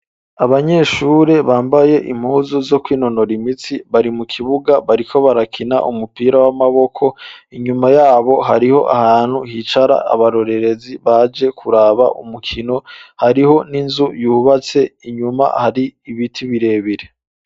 Abanyeshure bambaye impuzu zo ku'inonora imitsi bari mu kibuga bariko barakina umupira w'amaboko inyuma yabo hariho ahantu hicara abarorerezi baje kuraba umukino hariho n'inzu yubatse inyuma hari ibiti birebire.